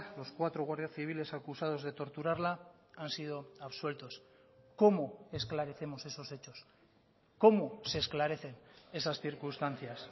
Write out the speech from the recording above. los cuatro guardias civiles acusados de torturarla han sido absueltos cómo esclarecemos esos hechos cómo se esclarecen esas circunstancias